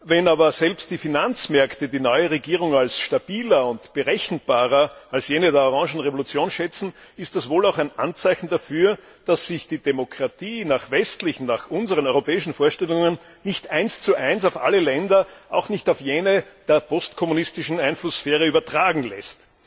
Wenn aber selbst die Finanzmärkte die neue Regierung als stabiler und berechenbarer als jene der Orangenen Revolution schätzen, ist das wohl auch ein Anzeichen dafür, dass sich die Demokratie nach westlichen nach unseren europäischen Vorstellungen nicht eins zu eins auf alle Länder, auch nicht auf jene der postkommunistischen Einflusssphäre übertragen lässt.